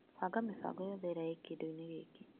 Banga mĩbango yothe ĩrĩa ĩ kĩndũ-inĩ gĩkĩ.